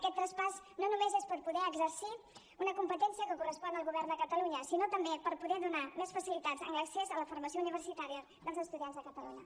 aquest traspàs no és només per poder exercir una competència que correspon al govern de catalunya sinó també per poder donar més facilitats en l’accés a la formació universitària dels estudiants de catalunya